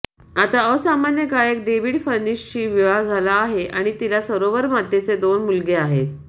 आता असामान्य गायक डेव्हिड फर्निशशी विवाह झाला आहे आणि तिला सरोवर मातेचे दोन मुलगे आहेत